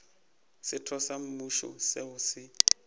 setho sa mmušo seo se